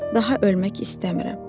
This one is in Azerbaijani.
Daha ölmək istəmirəm.